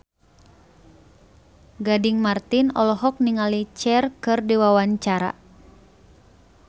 Gading Marten olohok ningali Cher keur diwawancara